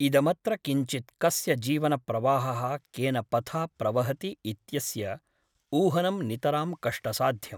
इदमत्र किञ्चित् कस्य जीवनप्रवाहः केन पथा प्रवहति इत्यस्य ऊहनं नितरां कष्टसाध्यम् ।